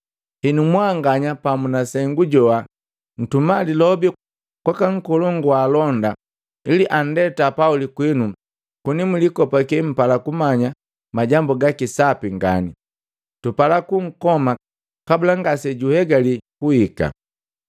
Henu, mwanganya pamu na sengu joha nntuma lilobi kwaka nkolongu wa alonda ili andeta Pauli kwinu koni mulikopake mpala kumanya majambu gaki sapi ngani. Tupala kunkoma kabula ngase juhegali kuhika.”